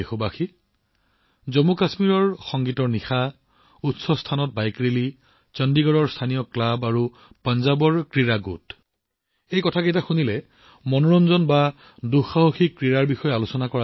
মোৰ প্ৰিয় দেশবাসী জম্মুকাশ্মীৰত মিউজিকেল নাইটেই হওক হাই এলটিটুডত বাইক ৰেলীয়েই হওক চণ্ডীগড়ত স্থানীয় ক্লাবেই হওক পঞ্জাৱত বহুতো ক্ৰীড়া গোটেই হওক এনে লাগে যেন আমি মনোৰঞ্জন আৰু দুঃসাহসিকতাৰ কথা কৈছো